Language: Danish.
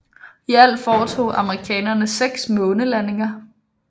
I alt foretog amerikanerne 6 månelandinger